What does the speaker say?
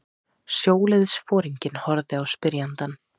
Sjóliðsforinginn horfði á spyrjandann.